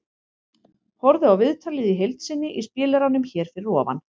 Horfðu á viðtalið í heild sinni í spilaranum hér fyrir ofan.